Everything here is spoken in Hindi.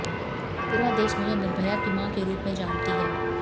पूरा देश मुझे निर्भया की मां के रूप में जानती है